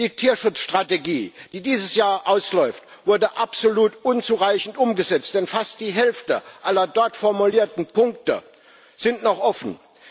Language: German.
Die Tierschutzstrategie, die dieses Jahr ausläuft, wurde absolut unzureichend umgesetzt, denn fast die Hälfte aller dort formulierten Punkte ist noch offen.